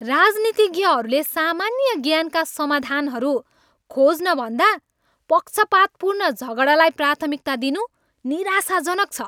राजनीतिज्ञहरूले सामान्य ज्ञानका समाधानहरू खोज्नभन्दा पक्षपातपूर्ण झगडालाई प्राथमिकता दिनु निराशाजनक छ।